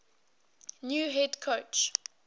new head coach